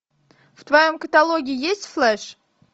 в твоем каталоге есть флеш